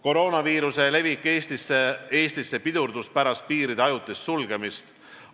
Koroonaviiruse levik Eestisse pidurdus pärast piiride ajutist sulgemist.